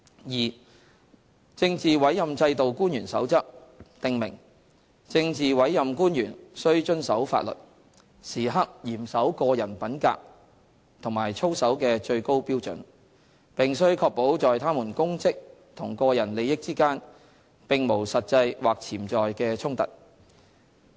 二《政治委任制度官員守則》訂明，政治委任官員須遵守法律，時刻嚴守個人品格和操守的最高標準，並須確保在他們公職和個人利益之間並無實際或潛在的衝突。